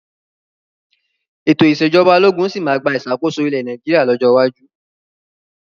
Ètò ìsèjọba ológun sì máa gba ìṣàkóso ilẹ̀ Nàìjíríà lọ́jọ́ iwájú.